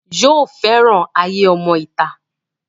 yóò fẹ́ràn ayé ọmọ ìta